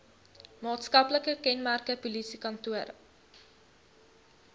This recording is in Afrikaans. maatskaplike kenmerke polisiekantore